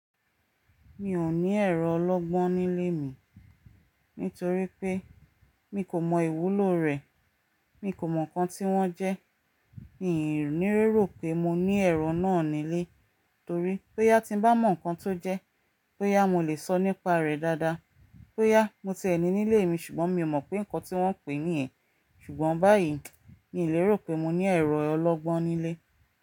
Mi ò ní ẹ̀rọ ọlọ́gbọ́n nílé mi, nítorí pé mi kò mọ ìwúlò rẹ̀. Mi kò mọ nǹkan tí wọ́n jẹ́. Mi o ni rí rò pé mo ní ẹ̀rọ náà nílé, torí boyá tí bá mọ̀ nǹkan tó jẹ́, bo yá mo lè sọ nípa rẹ̀ dáadáa. Bo yá mo ti ẹ ni nílé mi ṣùgbọ́n mi ò mọ̀ pé nǹkan tí wọ́n pè é ní ẹ̀. Ṣùgbọ́n báyìí mi lérò pé mo ní ẹ̀rọ ọlọ́gbọ́n nílé.